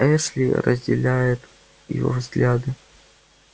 эшли разделяет его взгляды